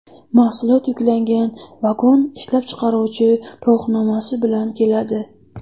Mahsulot yuklangan vagon ishlab chiqaruvchi guvohnomasi bilan keladi.